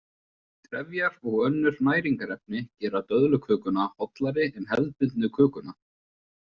Trefjar og önnur næringarefni gera döðlukökuna hollari en hefðbundnu kökuna.